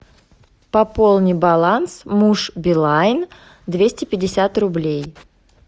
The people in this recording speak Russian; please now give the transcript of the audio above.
пополни баланс муж билайн двести пятьдесят рублей